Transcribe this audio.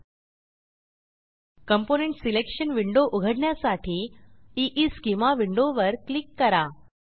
component selection window उघडण्यासाठी ईस्केमा विंडोवर क्लिक करा